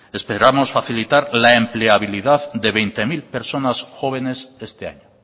esperamos facilitar la empleabilidad de veinte mil personas jóvenes este año